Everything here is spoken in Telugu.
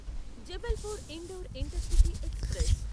Jabalpur Indore intercity express